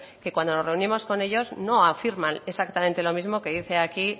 que cuando nos reunimos con ellos no afirman exactamente lo mismo que dicen aquí